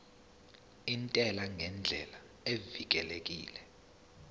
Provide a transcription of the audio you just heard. intela ngendlela evikelekile